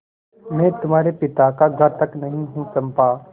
मैं तुम्हारे पिता का घातक नहीं हूँ चंपा